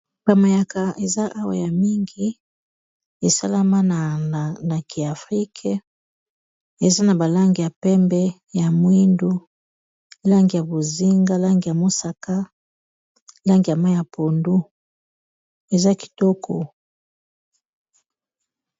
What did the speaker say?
bamayaka eza awa ya mingi esalama na naki afrique eza na balange ya pembe ya mwindu langi ya bozinga lange ya mosaka langi ya ma ya pondo eza kitoko